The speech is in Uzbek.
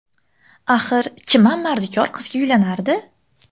Axir kimam mardikor qizga uylanardi?